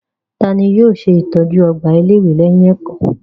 Ta ni yóò ṣe ìtọ́jú ọgbà ilé-ìwé lẹ́yìn ẹ̀kọ́?